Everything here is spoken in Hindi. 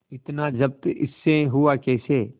इतना जब्त इससे हुआ कैसे